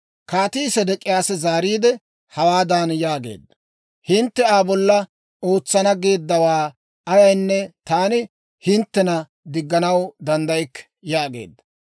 Kaatii Sedek'iyaasi zaariide, hawaadan yaageedda; «Hintte Aa bolla ootsana geeddawaa ayaanne taani hinttena digganaw danddaykke» yaageedda.